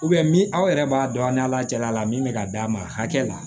aw yɛrɛ b'a dɔn a ni ala cɛla la min bɛ ka d'a ma hakɛ la